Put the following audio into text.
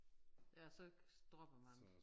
Ja så dropper man det